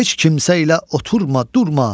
heç kimsə ilə oturma, durma.